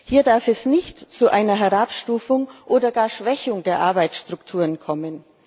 Hier darf es nicht zu einer Herabstufung oder gar Schwächung der Arbeitsstrukturen kommen.